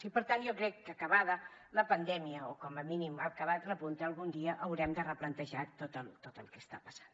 i per tant jo crec que acabada la pandèmia o com a mínim acabat el repunt algun dia haurem de replantejar tot el que està passant